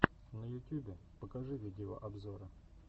на ютюбе покажи видеообзоры